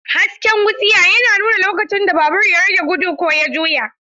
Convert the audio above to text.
Hasken wutsiya yana nuna lokacin da babur ya rage gudu ko ya juya.